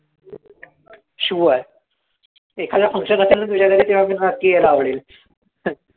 Sure एखादा function असेल ना तुझ्या घरी तेव्हा मला नक्की यायला आवडेल,